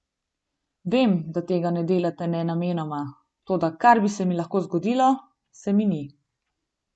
Vem, da tega ne delate namenoma, toda kar bi se mi lahko zgodilo, se mi ni.